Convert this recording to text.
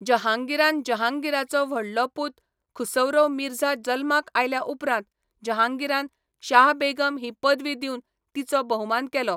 जहांगीरान जहांगीराचो व्हडलो पूत खुसरौ मिर्झा जल्माक आयल्या उपरांत जहांगीरान शाह बेगम ही पदवी दिवन तिचो भोवमान केलो.